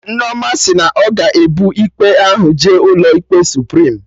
Nneoma sị na ọ ga-ebu ikpe ahụ jee ụlọ ikpe Suprim